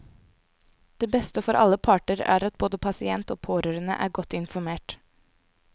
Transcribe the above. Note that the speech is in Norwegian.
Det beste for alle parter er at både pasient og pårørende er godt informert.